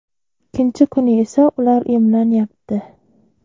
Ikkinchi kuni esa ular emlanyapti.